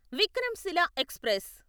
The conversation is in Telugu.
విక్రంశిల ఎక్స్ప్రెస్